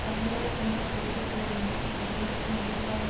பகைவரை கண்டால் பொறுத்து செல்லவேண்டும் அப் பகைவர்க்கு முடிவுகாலம்